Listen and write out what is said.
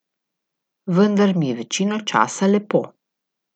Vendar mi je večino časa lepo.